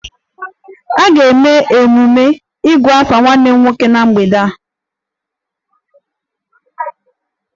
A ga-eme emume 'igu afa' nwanne m nwoke na mgbede a